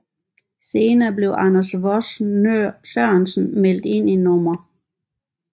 Senere blev Anders Vos Sørensen meldt ind i Nr